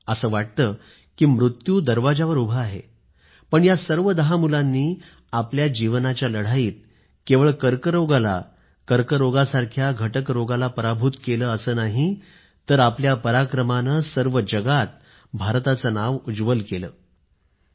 असं वाटतं की मृत्यू दरवाजावर उभा आहे पण या सर्व दहा मुलांनी आपल्या जीवनाच्या लढाईतकेवळ कर्करोगाला कर्करोगासारख्या घटक रोगाला पराभूत केलं असं नाही तर आपल्या पराक्रमानं सर्व जगात भारताचं नाव उज्वल केलं आहे